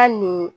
Hali ni